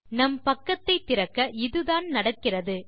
நம் பக்கத்தை திறக்க இதுதான் நடக்கிறது